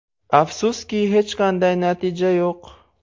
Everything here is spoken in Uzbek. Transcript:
Afsuski, hech qanday natija yo‘q.